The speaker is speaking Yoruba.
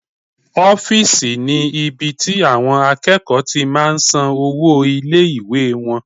Ọ́fìsì ni ibi tí àwọn akẹ́kọ̀ọ́ ti máa n san owó ilé-ìwé wọn